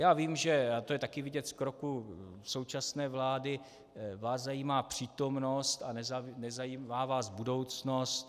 Já vím, že - a to je také vidět z kroků současné vlády - vás zajímá přítomnost a nezajímá vás budoucnost.